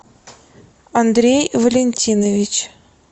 андрей валентинович